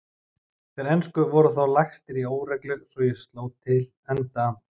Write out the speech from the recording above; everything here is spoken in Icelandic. Þeir ensku voru þá lagstir í óreglu svo ég sló til enda